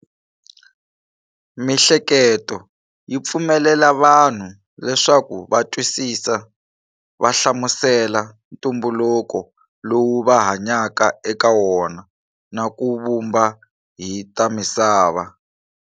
Mi'hleketo yi pfumelela vanhu leswaku va twisisa, vahlamusela ntumbuluko lowu va hanyaka eka wona, na ku vumba hi ta misava.